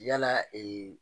Yala